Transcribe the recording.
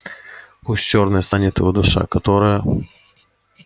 пусть чёрной станет его душа которая